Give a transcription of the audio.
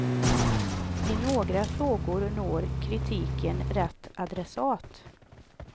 I några frågor når kritiken rätt adressat.